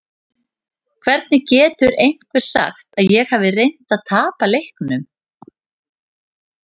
Hvernig getur einhver sagt að ég hafi reynt að tapa leiknum?